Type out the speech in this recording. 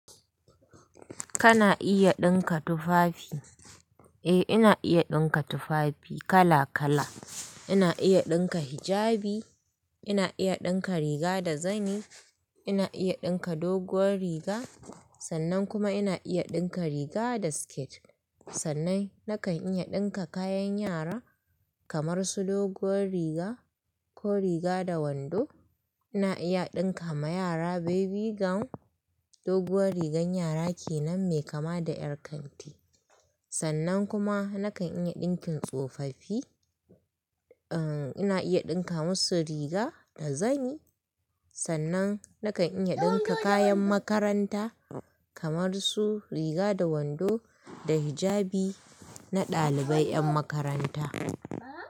Kana iya ɗinka tufafi? Eh, ina iya ɗinka tufafi kala kala. Ina iya ɗinka hijabi, ina iya ɗinka riga da zani, ina iya ɗinka doguwar riga, sannan kuma ina iya ɗinka riga da siket. Sannan nakan iya ɗinka kayan yara kamar su doguwar riga ko riga da wando. Ina iya ɗinka ma yara baby gown, doguwar rigar yara kenan mai kama da ƴar kanti. Sannan kuma nakan iya ɗinkin tsofaffi, uhm, ina iya ɗinka musu riga da zani. Sannan nakan iya ɗinka kayan makaranta kamar su riga da wando da hijabi na ɗalibai ƴan makaranta.